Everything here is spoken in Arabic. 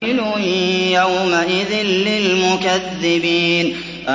وَيْلٌ يَوْمَئِذٍ لِّلْمُكَذِّبِينَ